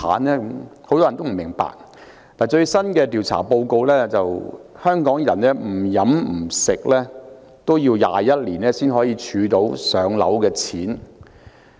根據最新的調查報告，即使香港人不吃不喝，也要21年才可儲到"上樓"的錢。